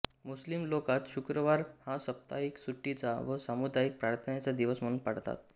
मुस्लिम लोकात शुक्रवार हा साप्ताहिक सुट्टीचा व सामुदायिक प्रार्थनेचा दिवस म्हणून पाळतात